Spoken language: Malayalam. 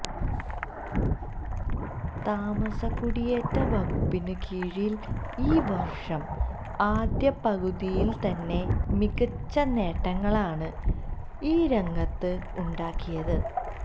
താമസകുടിയേറ്റ വകുപ്പിന് കീഴില് ഈ വര്ഷം ആദ്യ പകുതിയില് തന്നെ മികച്ച നേട്ടങ്ങളാണ് ഈ രംഗത്ത് ഉണ്ടാക്കിയത്